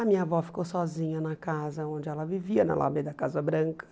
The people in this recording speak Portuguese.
A minha avó ficou sozinha na casa onde ela vivia, na alameda Casa Branca.